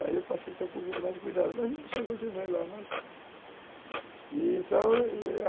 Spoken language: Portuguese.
Aí eu passei a ter um pouco mais de cuidado, mas assim eu continuei lá, uhum, então eu